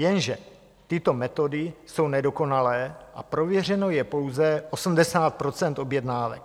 Jenže tyto metody jsou nedokonalé a prověřeno je pouze 80 % objednávek.